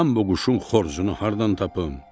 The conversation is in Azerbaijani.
Mən bu quşun xoruzunu hardan tapım?